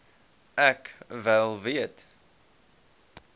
ek wel weet